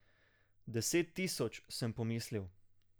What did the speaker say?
Deset tisoč, sem pomislil.